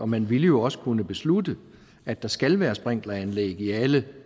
man ville jo også kunne beslutte at der skal være sprinkleranlæg i alle